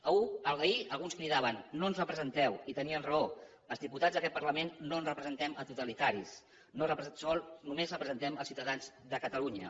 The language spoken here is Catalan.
ahir alguns cridaven no ens representeu i tenien raó els diputats d’aquest parlament no representem els totalitaris només representem els ciutadans de catalunya